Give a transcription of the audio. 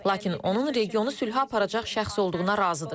Lakin onun regionu sülhə aparacaq şəxs olduğuna razıdır.